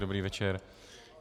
Dobrý večer.